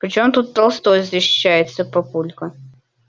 при чем тут толстой защищается папулька